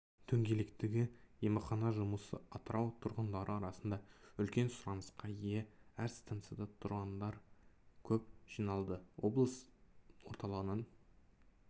дөңгелектегі емхана жұмысы атырау тұрғындары арасында үлкен сұранысқа ие әр станцияда тұрғындар көп жиналды облыс орталығынан